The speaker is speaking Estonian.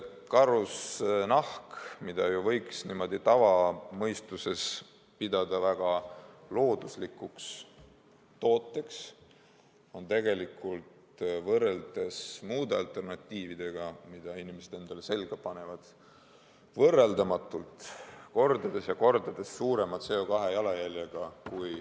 Karusnahk, mida ju võiks tavamõistes pidada väga looduslikuks tooteks, on tegelikult võrreldes muude alternatiividega, mida inimesed endale selga panevad, võrreldamatult, kordades ja kordades suurema CO2-jalajäljega.